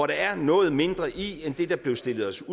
der er noget mindre i end det der blev stillet os